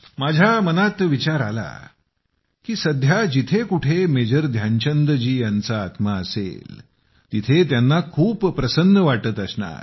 माझ्या मनात विचार आला की सध्या जिथं कुठं मेजर ध्यानचंद जी यांचा आत्मा असेल तिथं त्यांना खूप प्रसन्न वाटत असणार